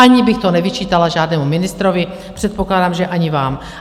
Ani bych to nevyčítala žádnému ministrovi, předpokládám, že ani vám.